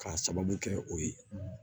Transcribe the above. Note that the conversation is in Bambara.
K'a sababu kɛ o ye